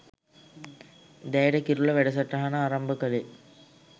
දැයට කිරුළ වැඩසටහන ආරම්භ කළේ.